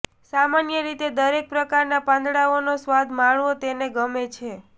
સામાન્ય રીતે દરેક પ્રકારના પાંદડાંનો સ્વાદ માણવો તેને ગમે છે